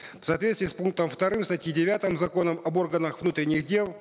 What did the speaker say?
в соответствии с пунктом вторым статьи девятой закона об органах внутренних дел